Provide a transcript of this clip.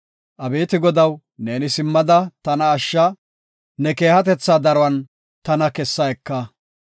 Abeeti Godaw, neeni simmada tana ashsha; ne keehatetha daruwan tana kessa eka.